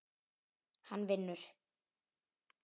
Hann vinnur.